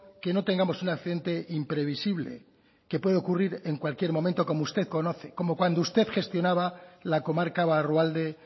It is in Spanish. que no tengamos un accidente imprevisible que puede ocurrir en cualquier momento como usted conoce como cuando gestionaba la comarca barrualde